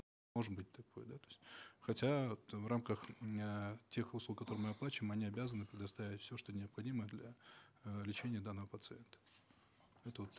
может быть такое да то есть хотя вот в рамках м эээ тех услуг которые мы оплачиваем они обязаны предоставить все что необходимо для э лечения данного пациента это вот